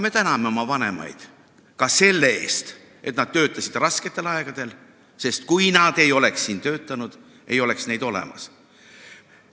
Me täname oma vanemaid ka selle eest, et nad töötasid rasketel aegadel, sest kui nad ei oleks siin töötanud, ei oleks neid olemas.